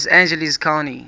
los angeles county